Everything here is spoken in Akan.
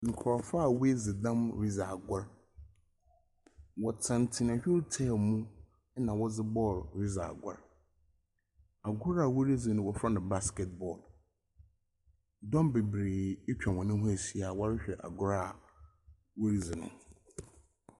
Nkrɔfo a wɔadzi dɛm redzi agor wɔtenatena wheel chair mu na wɔdze ball redzi agor. Agor a wɔredzi no wɔfrɛ no baskɛt ball. Dɔm bebree atwa wɔn ho rehwɛ agor a wɔredzi no.